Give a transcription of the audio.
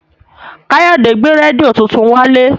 Káyọ̀dé gbé rédíò tuntun wálé